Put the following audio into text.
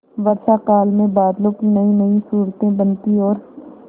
वर्षाकाल में बादलों की नयीनयी सूरतें बनती और